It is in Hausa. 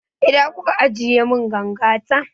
Ina kuka ajiye mun ganga ta?